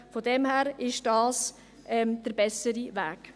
Von daher ist dies der bessere Weg.